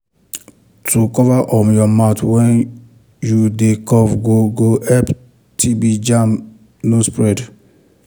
to cover um your mouth when you dey cough go go help tb um germ no spread.